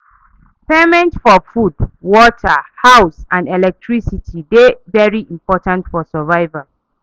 Payment for food, water, house and electricity dey very important for survival